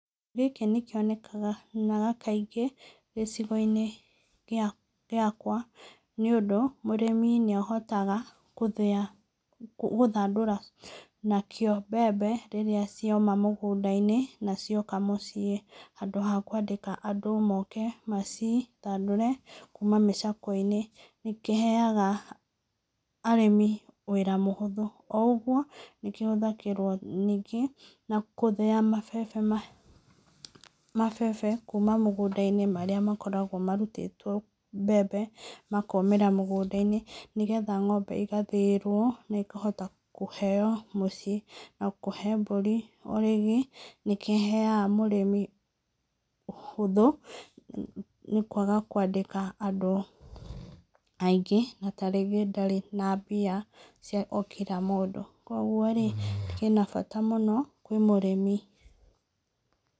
Gĩkĩ nĩ kĩonekaga, na kaingĩ gĩcigo-inĩ gĩakwa nĩ ũndũ, mũrĩmi nĩ ahotaga gũthĩa na gũthandũra nakĩo mbembe rĩrĩa cioma mũgũnda-inĩ na cioka mũciĩ handũ ha kũandĩka andũ moke macithandũre kuma mĩcakwe-inĩ. Nĩkĩheaga arĩmi wĩra mũhũthũ, o ũguo, nĩkĩ hũthagĩrwo ningĩ na gũthĩa mabebe, mabebe kuma mũgũnda-inĩ marĩa makoragwo marutĩtwo mbembe makomĩra mũgũnda-inĩ, nĩgetha ng'ombe ĩgathĩĩrwo na ĩkahota kũheo mũciĩ na kũhe mbũri. O rĩngĩ, nĩkĩheaga mũrĩmi ũhũthũ nĩ kwaga kwandĩka andũ aingĩ na ta rĩngĩ ndarĩ na mbia cia o kila mũndũ. Koguo rĩ, kĩna bata mũno kwĩ mũrĩmi.